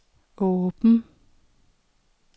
åben